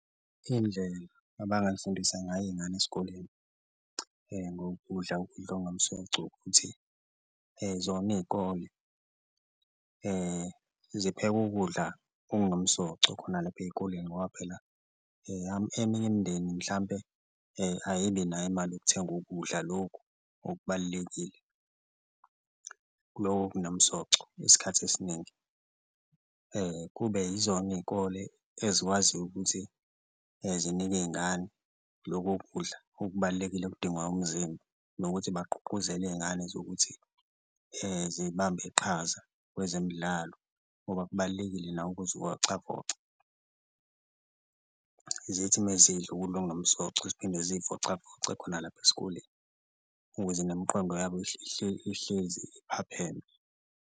Iy'ndlela abangayifundisa ngayo iy'ngane esikoleni ngokudla ukudla okunomsoco ukuthi zona iy'kole zipheke ukudla okunomsoco khona lapha ey'koleni ngoba phela eminye imindeni mhlampe ayibi nayo imali yokuthenga ukudla, lokhu okubalulekile loko okunomsoco isikhathi esiningi. Kube yizona iy'kole ezikwaziyo ukuthi zinike iy'ngane loko kudla okubalulekile okudingwa umzimba nokuthi bagqugquzele iy'ngane zokuthi zibambe iqhaza kwezemidlalo ngoba kubalulekile nako ukuzivocavoca, zithi uma zidla ukudla okumsoco ziphinde ziyivocavoce khona lapha esikoleni ukuze nemiqondo yabo ihlezi iphapheme.